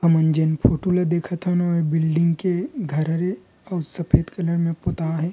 हमन जेन फोटू ला देखत हन ओह बिल्डिंग के घर हरे अऊ सफ़ेद कलर में पोताए हे।